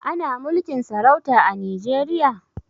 Ana mulkin sarauta a Nijeriya?